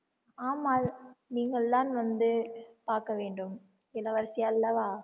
ஆமா நீங்கள்தான் வந்து பார்க்க வேண்டும் இளவரசி அல்லவா